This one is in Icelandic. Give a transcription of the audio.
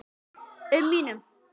um mínum.